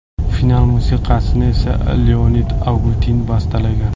Final musiqasini esa Leonid Agutin bastalagan.